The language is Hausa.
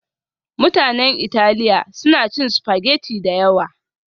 Mutanen Italiya suna cin spaghetti da yawa